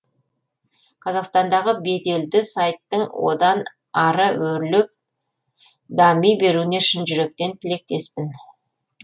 қазақстандағы беделді сайттың одан ары өрлеп дами беруіне шын жүректен тілектеспін